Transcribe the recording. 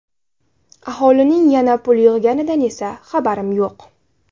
Aholining yana pul yig‘ganidan esa xabarim yo‘q.